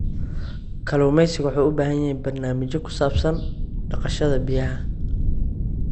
Kalluumaysigu waxay u baahan yihiin barnaamijyo ku saabsan dhaqashada biyaha.